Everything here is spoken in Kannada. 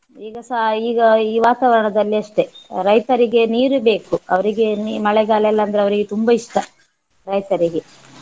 ಈಗಸ ಈಗ ಈ ವಾತಾವರಣದಲ್ಲಿ ಅಷ್ಟೇ ರೈತರಿಗೆ ನೀರು ಬೇಕು ಅವರಿಗೆ ನೀ~ ಮಳೆಗಾಳೆಲ್ಲಂದ್ರೆ ಅವರಿಗೆ ತುಂಬ ಇಷ್ಟ ರೈತರಿಗೆ.